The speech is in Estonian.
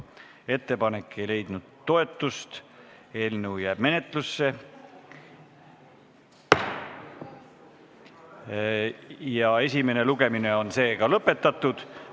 Ettepanek ei leidnud toetust, eelnõu jääb menetlusse ja esimene lugemine on lõpetatud.